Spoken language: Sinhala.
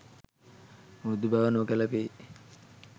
මෘදු බව නොගැලපේ